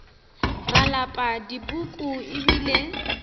ra lapa dipuku e bile